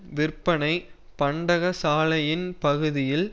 விற்பனை பண்டகசாலையின் பகுதியில்